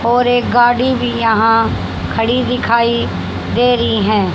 और एक गाड़ी भी यहां खड़ी दिखाई दे रही हैं।